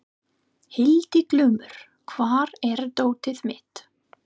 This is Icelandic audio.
Hildiglúmur, hvar er dótið mitt?